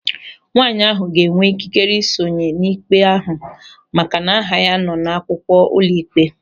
Nwaanyị ahụ ga-enwe ikikere ị sonye n'ikpe ahụ maka na aha ya nọ n'akwụkwọ ụlọịkpe.